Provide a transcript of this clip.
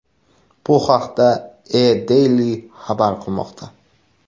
Bu haqda EADaily xabar qilmoqda .